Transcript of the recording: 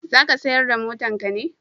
za ka sayar da motan ka ne?